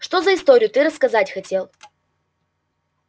что за историю ты рассказать хотел